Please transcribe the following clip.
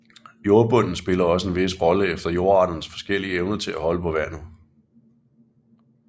Jordbunden spiller også en vis rolle efter jordarternes forskellige evne til at holde på vandet